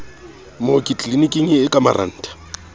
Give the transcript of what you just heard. mooki tliliniking e ka marantha